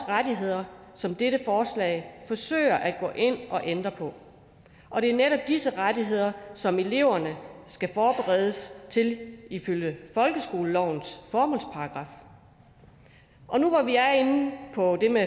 rettigheder som dette forslag forsøger at gå ind og ændre på og det er netop disse rettigheder som eleverne skal forberedes til ifølge folkeskolelovens formålsparagraf og nu hvor vi er inde på det med